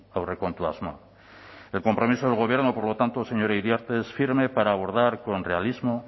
aurrekontu asmoa el compromiso del gobierno por lo tanto señora iriarte es firme para abordar con realismo